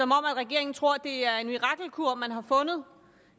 regeringen tror at det er en mirakelkur man har fundet